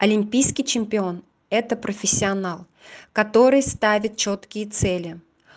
олимпийский чемпион это профессионал который ставит чёткие цели